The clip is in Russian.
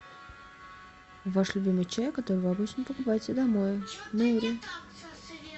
ваш любимый чай который вы обычно покупаете домой нури